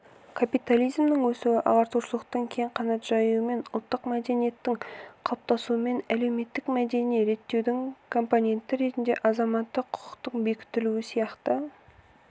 капитализмнің өсуі ағартушылықтың кең қанат жаюымен ұлттық мәдениеттердің қалыптасуымен әлеуметтік-мәдени реттеудің компоненті ретінде азаматтық құқықтың бекітілуі сияқты